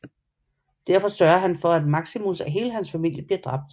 Derfor sørger han for at Maximus og hele hans familie bliver dræbt